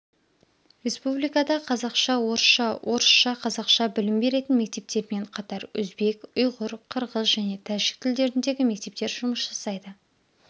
республикада қазақша-орысша орысша-қазақша білім беретін мектептермен қатар өзбек ұйғыр қырғыз және тәжік тілдеріндегі мектептер жұмыс жасайды